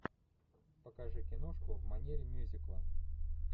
покажи киношку в манере мюзикла